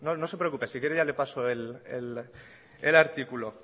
no se preocupe si quiere ya le paso el artículo